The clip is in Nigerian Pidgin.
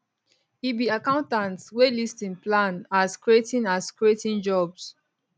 e be accountant wey list im plan as creating as creating jobs